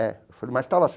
É. Eu falei, mas estava